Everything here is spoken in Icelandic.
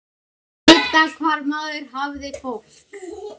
Vita hvar maður hafði fólk.